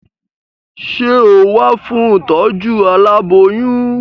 Sé o wá fún ìtọ́jú aláboyún?